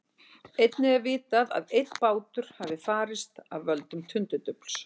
Einnig er vitað að einn bátur hafi farist af völdum tundurdufls.